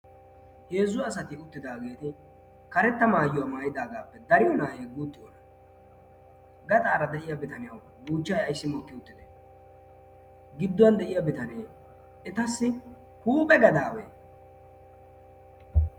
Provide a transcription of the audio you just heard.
heezzu asati uttidaageedi karetta maayyiywaa maayidaagaappe dariyo naahe guuxxi oona gaxaara de'iya bitaniyau guuchchay aissi mokki uttide gidduwan de'iya bitanee etassi huuphe gadaawee